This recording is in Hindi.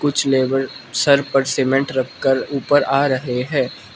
कुछ लेबर सर पर सीमेंट रखकर ऊपर आ रहे हैं।